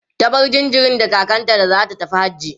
ta bar jinjirin da kakanta da zata tafi hajji